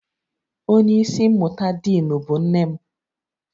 Onye isi mmụta diinu bụ nne m